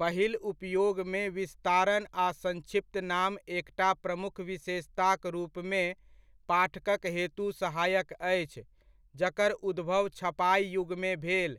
पहिल उपयोगमे विस्तारण आ संक्षिप्त नाम एकटा प्रमुख विशेषताक रूपमे पाठकक हेतु सहायक अछि जकर उद्भव छपाइ युगमे भेल,